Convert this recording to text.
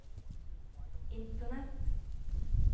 internett